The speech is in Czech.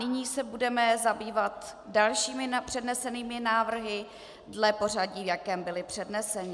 Nyní se budeme zabývat dalšími přednesenými návrhy dle pořadí, v jakém byly předneseny.